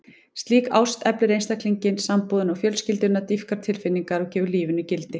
Slík ást eflir einstaklinginn, sambúðina og fjölskylduna, dýpkar tilfinningar og gefur lífinu gildi.